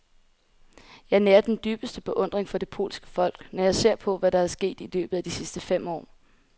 Jeg nærer den dybeste beundring for det polske folk, når jeg ser på, hvad der er sket i løbet af de sidste fem år.